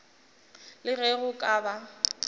le ge go ka ba